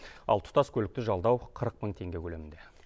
ал тұтас көлікті жалдау қырық мың теңге көлемінде